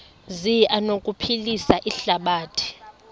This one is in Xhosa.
zi anokuphilisa ihlabathi